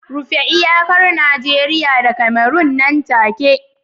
rufe iyakar Najeriya da Cameron nan take